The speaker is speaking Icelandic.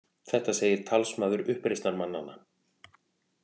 Þetta segir talsmaður uppreisnarmannanna